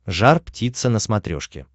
жар птица на смотрешке